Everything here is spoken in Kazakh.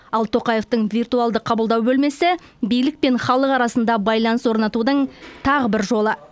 ал тоқаевтың виртуалды қабылдау бөлмесі билік пен халық арасында байланыс орнатудың тағы бір жолы